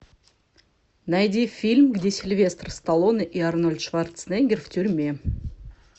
найди фильм где сильвестр сталлоне и арнольд шварценеггер в тюрьме